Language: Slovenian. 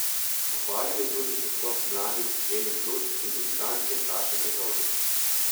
Pohvalil je tudi pristop mladih Eli Plut in debitantke Saša Brezovnik.